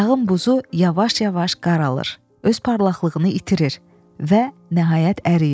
Dağın buzu yavaş-yavaş qaralır, öz parlaqlığını itirir və nəhayət əriyir.